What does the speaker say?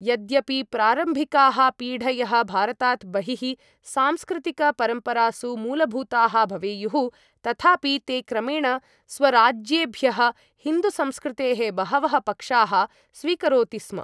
यद्यपि प्रारम्भिकाः पीढयः भारतात् बहिः सांस्कृतिकपरम्परासु मूलभूताः भवेयुः तथापि ते क्रमेण स्वराज्येभ्यः हिन्दुसंस्कृतेः बहवः पक्षाः स्वीकरोति स्म ।